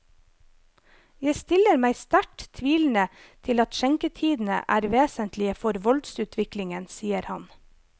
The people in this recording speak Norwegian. Jeg stiller meg sterkt tvilende til at skjenketidene er vesentlige for voldsutviklingen, sier han.